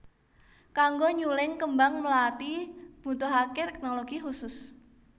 Kanggo nyuling kembang mlathi mbutuhaké téknologi khusus